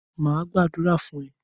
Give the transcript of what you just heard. Mà á gbàdúrà fún ẹ!